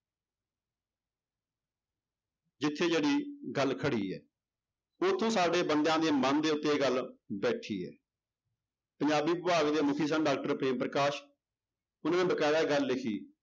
ਜਿੱਥੇ ਜਿਹੜੀ ਗੱਲ ਖੜੀ ਹੈ ਉੱਥੋਂ ਸਾਡੇ ਬੰਦਿਆਂ ਦੇ ਮਨ ਦੇ ਉੱਤੇੇ ਇਹ ਗੱਲ ਬੈਠੀ ਹੈ ਪੰਜਾਬੀ ਵਿਭਾਗ ਦੇ ਮੁੱਖੀ ਸਨ doctor ਪ੍ਰੇਮ ਪ੍ਰਕਾਸ਼, ਉਹਨਾਂ ਨੇ ਬਕਾਇਦਾ ਇਹ ਗੱਲ ਲਿਖੀ